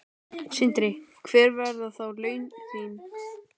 Sindri: Hver verða þá laun þín?